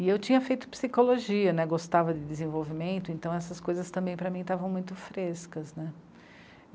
E eu tinha feito psicologia, né, gostava de desenvolvimento, então essas coisas também para mim estavam muito frescas, né?